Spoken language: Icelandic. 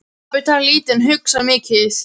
Pabbi talar lítið en hugsar mikið.